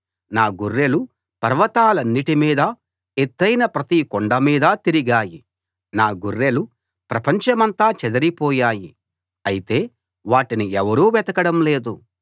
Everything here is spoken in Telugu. నా గొర్రెలు పర్వతాలన్నిటి మీదా ఎత్తయిన ప్రతి కొండ మీదా తిరిగాయి నా గొర్రెలు ప్రపంచమంతా చెదరిపోయాయి అయితే వాటిని ఎవరూ వెతకడం లేదు